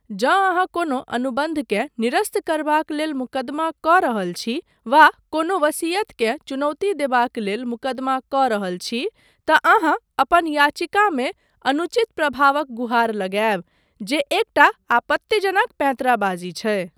जँ अहाँ कोनो अनुबन्धकेँ निरस्त करबाक लेल मुकदमा कऽ रहल छी वा कोनो वसीयतकेँ चुनौती देबाक लेल मुकदमा कऽ रहल छी तँ अहाँ अपन याचिकामे अनुचित प्रभावक गुहार लगायब, जे एकटा आपत्तिजनक पैंतराबाजी छै।